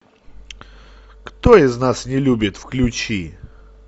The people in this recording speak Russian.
кто из нас не любит включи